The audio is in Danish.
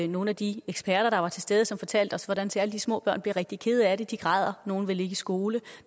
nogle af de eksperter der var til stede fortalte os hvordan særlig de små børn bliver rigtig kede af det de græder nogle vil ikke i skole